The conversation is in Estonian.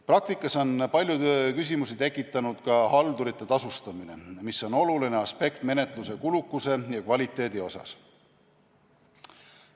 Praktikas on palju küsimusi tekitanud ka haldurite tasustamine, mis on oluline aspekt menetluse kulukuse ja kvaliteedi mõttes.